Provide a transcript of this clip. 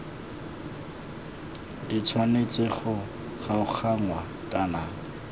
di tshwanetse go kgaoganngwa kana